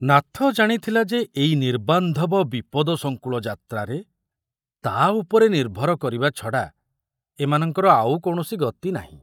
ନାଥ ଜାଣିଥିଲା ଯେ ଏଇ ନିର୍ବାନ୍ଧବ ବିପଦସଂକୁଳ ଯାତ୍ରାରେ ତା ଉପରେ ନିର୍ଭର କରିବା ଛଡ଼ା ଏମାନଙ୍କର ଆଉ କୌଣସି ଗତି ନାହିଁ।